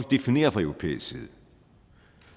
definere fra europæisk side